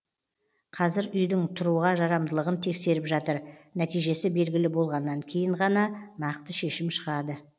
қазір үйдің тұруға жарамдылығын тексеріп жатыр нәтижесі белгілі болғаннан кейін ғана нақты шешім шығады